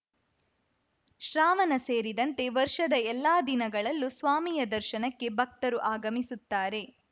ಶ್ರಾವಣ ಸೇರಿದಂತೆ ವರ್ಷದ ಎಲ್ಲಾ ದಿನಗಳಲ್ಲೂ ಸ್ವಾಮಿಯ ದರ್ಶನಕ್ಕೆ ಭಕ್ತರು ಆಗಮಿಸುತ್ತಾರೆ